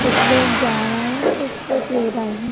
कुछ लोग जा रहे हैं कुछ लोग ले रहे हैं।